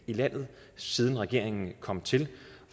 i landet siden regeringen kom til